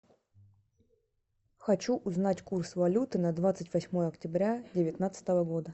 хочу узнать курс валюты на двадцать восьмое октября девятнадцатого года